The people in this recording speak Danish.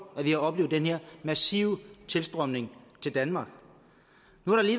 at vi har oplevet den her massive tilstrømning til danmark